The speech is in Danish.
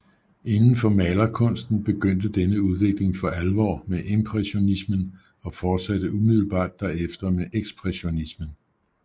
Inden for malerkunsten begyndte denne udvikling for alvor med impressionismen og fortsatte umiddelbart derefter med ekspressionismen